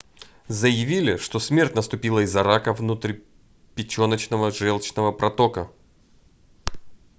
заявили что смерть наступила из-за рака внутрипеченочного желчного протока